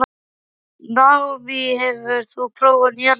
Naomí, hefur þú prófað nýja leikinn?